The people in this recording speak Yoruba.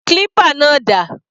Clipper náà dà?